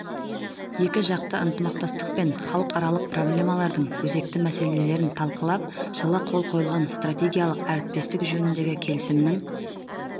екіжақты ынтымақтастық пен халықаралық проблемалардың өзекті мәселелерін талқылап жылы қол қойылған стратегиялық әріптестік жөніндегі келісімнің